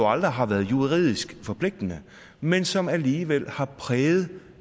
aldrig har været juridisk forpligtende men som alligevel har præget